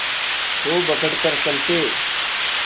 खूब अकड़ कर चलते